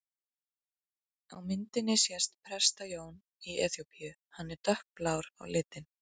Á myndinni sést Presta-Jón í Eþíópíu, hann er dökkblár á lit.